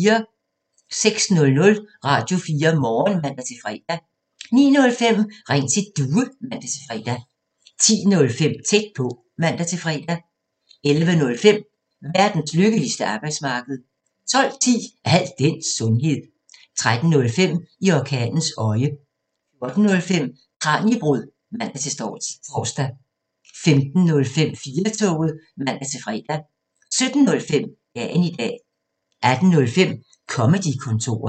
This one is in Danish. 06:00: Radio4 Morgen (man-fre) 09:05: Ring til Due (man-fre) 10:05: Tæt på (man-fre) 11:05: Verdens lykkeligste arbejdsmarked 12:10: Al den sundhed 13:05: I orkanens øje 14:05: Kraniebrud (man-tor) 15:05: 4-toget (man-fre) 17:05: Dagen i dag 18:05: Comedy-kontoret